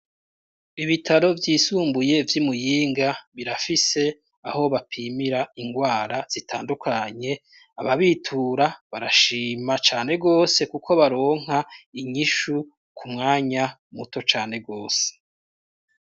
Ibitaro vyisumbuye vy'Imuyinga birafise aho bapimira ingwara zitandukanye, aba bitura barashima cane gose, kuko baronka inyishu ku mwanya muto cane gose.